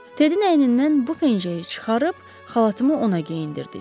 Tedin əynindən bu pencəyi çıxarıb xalatımı ona geyindirdik.